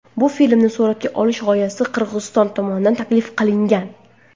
Bu filmni suratga olish g‘oyasi Qirg‘iziston tomonidan taklif qilingan.